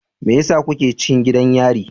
Me yasa kuke cikin gidan yari?